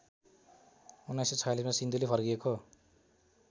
१९४६ मा सिन्धुली फर्किएको